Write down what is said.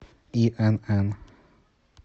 инн